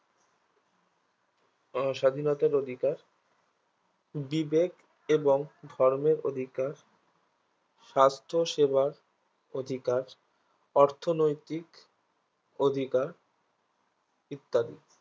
ওস্বাধীনতার অধিকার বিবেক এবং ধর্মের অধিকার স্বাস্থসেবার অধিকার অর্থনৈতিক অধিকার ইত্যাদি